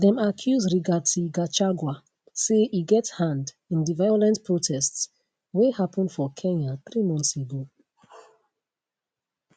dem accuse rigathi gachagua say e get hand in di violent protests wey happun for kenya three months ago